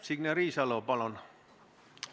Signe Riisalo, palun!